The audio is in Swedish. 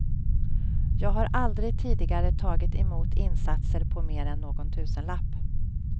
Jag har aldrig tidigare tagit emot insatser på mer än någon tusenlapp.